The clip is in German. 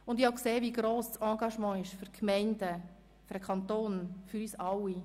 Und ich habe gesehen, wie gross das Engagement ist für die Gemeinden, für den Kanton und für uns alle;